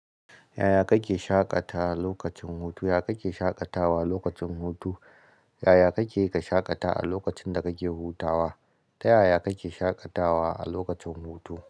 Yaya kake shaƙatawa lokacin hutu? Yaya kake shaƙatawa lokacin hutu? Yaya kake ka shaƙata a lokacin da kake hutawa? Ta yaya kake shaƙatawa a lokacin hutu?